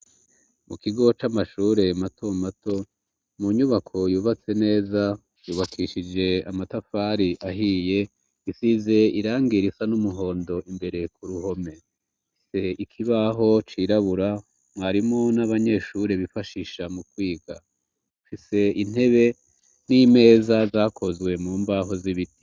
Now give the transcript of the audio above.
Mu kigo c'amashure mato mato, mu nyubako yubatse neza yubakishije amatafari ahiye isize irangirisa n'umuhondo imbere ku ruhome se ikibaho cirabura mwarimu n'abanyeshure bifashisha mu kwiga afise intebe n'imeza zakozwe mu mbaho z'ibiti.